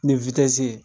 Ni witi ye